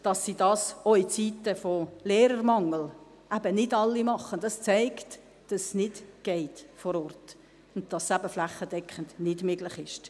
Dass sie dies auch in Zeiten des Lehrermangels eben nicht alle tun, zeigt, dass es vor Ort nicht geht und dass es flächendeckend eben nicht möglich ist.